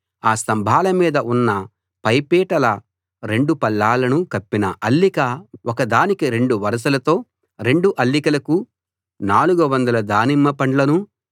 ఆ స్తంభాల మీద ఉన్న పై పీటల రెండు పళ్ళాలను కప్పిన అల్లిక ఒకదానికి రెండు వరసలతో రెండు అల్లికలకు 400 దానిమ్మపండ్లనూ